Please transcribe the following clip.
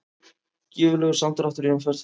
Gífurlegur samdráttur í umferð